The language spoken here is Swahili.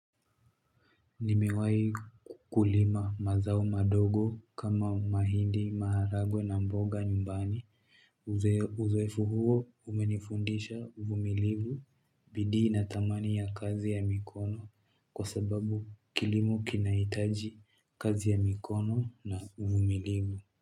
Nimewahi kulima mazao madogo kama mahindi maharagwe na mboga nyumbani Uzoefu huo umenifundisha uvumilivu bidii na thamani ya kazi ya mikono kwa sababu kilimo kinahitaji kazi ya mikono na uvumilivu.